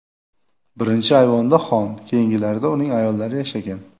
Birinchi ayvonda xon, keyingilarida uning ayollari yashagan.